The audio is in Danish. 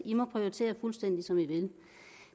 må prioritere fuldstændig som de vil